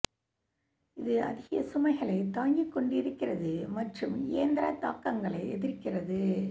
இது அதிக சுமைகளைத் தாங்கிக் கொண்டிருக்கிறது மற்றும் இயந்திர தாக்கங்களை எதிர்க்கிறது